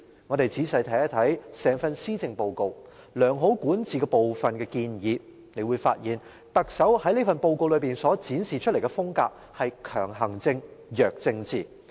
我們仔細看一看整份施政報告，在良好管治部分的建議，大家會發現特首在這份報告內所展示的風格是強行政、弱政治。